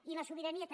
i la sobirania també